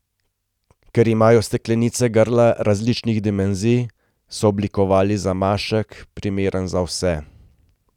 Ker imajo steklenice grla različnih dimenzij, so oblikovali zamašek, primeren za vse.